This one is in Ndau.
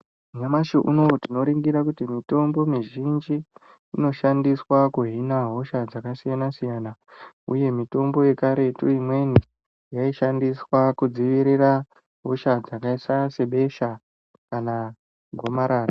Nyamashi unowu tinoningira kuti mitomboiHonki inoshandiswa kuhina hosha dzakasiyana siyana uye mitombo yekaretu imweni yaishandiswa kudzivirira hosha dzakaita sebesha kana gomarara.